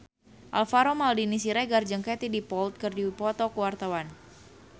Alvaro Maldini Siregar jeung Katie Dippold keur dipoto ku wartawan